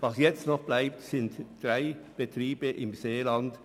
Was jetzt noch bleibt, sind drei Betriebe im Seeland;